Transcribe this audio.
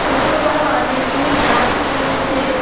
ছোট-বড় অনেকগুলি গাস রয়েছে।